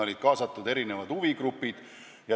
Olid kaasatud ka erinevad huvigrupid.